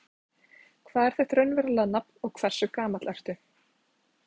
Hvað er þitt raunverulega nafn og hversu gamall ertu?